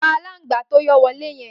Pà àlángbá tó yọ wọlé yẹ̀n